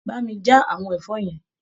Bá mi já àwọn ẹ̀fọ́ yẹn.